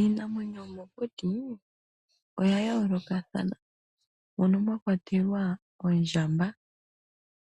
Iinamwenyo yomokuti oya yoolokathana mono mwa kwatelwa ondjamba.